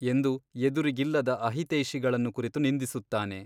ಎಂದು ಎದುರಿಗಿಲ್ಲದ ಅಹಿತೈಷಿಗಳನ್ನು ಕುರಿತು ನಿಂದಿಸುತ್ತಾನೆ.